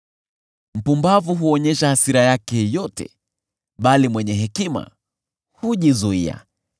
Mpumbavu huonyesha hasira yake yote, bali mwenye hekima hujizuia.